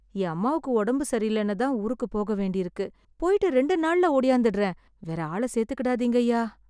என் அம்மாக்கு ஒடம்பு சரியில்லன்னுதான் ஊருக்கு போகவேண்டியிருக்கு... போய்ட்டு ரெண்டே நாள்ள ஓடியாந்துடறேன்... வேற ஆள சேர்த்துக்கிடாதீங்கய்யா.